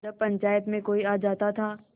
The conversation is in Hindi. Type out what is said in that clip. जब पंचायत में कोई आ जाता था